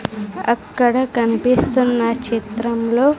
అక్కడ కనిపిస్తున్న చిత్రంలో.